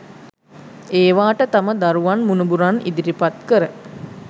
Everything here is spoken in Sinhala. ඒවාට තම දරුවන් මුණුබුරන් ඉදිරිපත් කර